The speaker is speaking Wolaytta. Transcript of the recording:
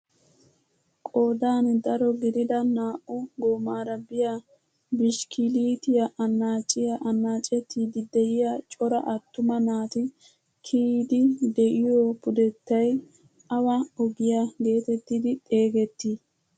Qoodan daro gidida naa"u goomara de'iyaa bishikiliyaa annaaciyaa annacettiidi de'iyaa cora attuma naati kiyiidi de'iyoo pudettay awa ogiyaa getettidi xeegetii?